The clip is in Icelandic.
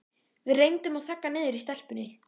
Við reyndum að þagga niður í stelpunni.